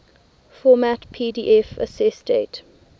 format pdf accessdate